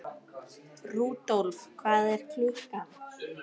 Rudolf, hvað er klukkan?